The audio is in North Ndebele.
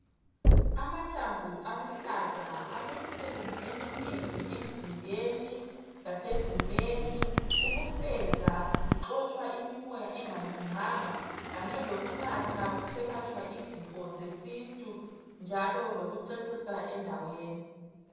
Amahlamvu aluhlaza alemisebenzi eminengi emzimbeni lasegumeni ukufeza kuxotshwa imimoya engalunganga kanye lokunatha kuselatshwa izifo zesintu njalo lokucecisa endaweni.